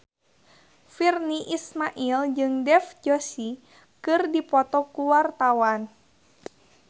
Virnie Ismail jeung Dev Joshi keur dipoto ku wartawan